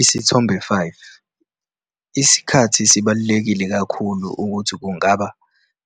Isithombe 5- Isikhathi sibaluleke kakhulu ukuthi kungaba